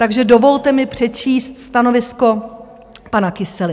Takže dovolte mi přečíst stanovisko pana Kysely.